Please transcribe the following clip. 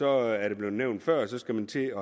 er blevet nævnt før at så skal man til